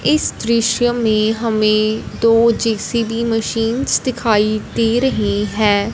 इस दृश्य में हमें दो जे_सी_बी मशीन्स दिखाई दे रही हैं।